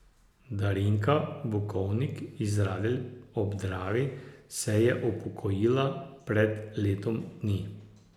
Darinka Bukovnik iz Radelj ob Dravi se je upokojila pred letom dni.